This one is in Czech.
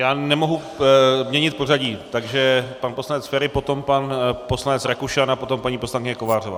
Já nemohu měnit pořadí, takže pan poslanec Feri, potom pan poslanec Rakušan a potom paní poslankyně Kovářová.